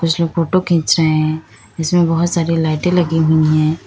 कुछ लोग फोटो खींच रहे हैं इसमें बहुत सारी लाइटें लगी हुई हैं।